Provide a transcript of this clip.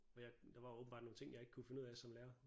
Men jeg der var åbenbart nogle ting jeg ikke kunne finde ud af som lærer